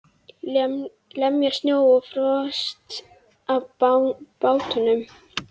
Lemja snjó og frost af bátnum.